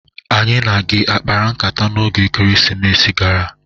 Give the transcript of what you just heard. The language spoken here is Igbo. Anyị na gị akpara nkata n' oge Ekerisimesi gara?